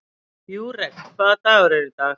Júrek, hvaða dagur er í dag?